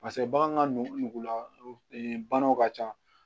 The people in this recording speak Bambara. pase bagan ka nugula banaw ka ca